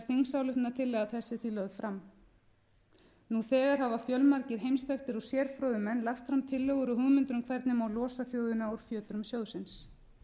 þingsályktunartillaga þessi því lögð fram nú þegar hafa fjölmargir heimsþekktir og sérfróðir menn lagt fram tillögur og hugmyndir um hvernig má losa þjóðina úr fjötrum sjóðsins